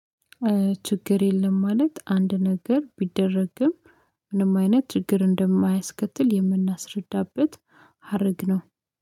ችግር የለም ማለት አንድ ነገር ቢደረግም ምንም አይነት ችግር እንደማያስከትል የምናስረዳበት ሀረግ ነው።